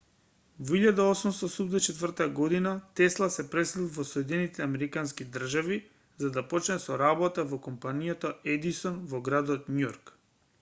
во 1884 година тесла се пресели во соединетите американски држави за да почне со работа во компанијата едисон во градот њујорк